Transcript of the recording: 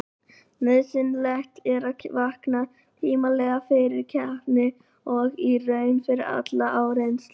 Nauðsynlegt er að vakna tímanlega fyrir keppni og í raun fyrir alla áreynslu.